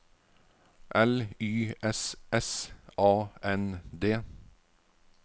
L Y S S A N D